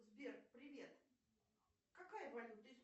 сбер привет какая валюта